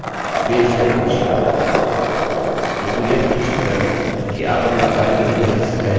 बेझिझक पूछिएकिन्तु यह सुनिश्चित कर लें कि आप अपना कार्य मुझे भेजने से पहले एक दो बल्कि तीन बार जाँच लें